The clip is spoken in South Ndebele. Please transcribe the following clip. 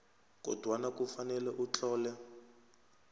kodwana kufanele utlole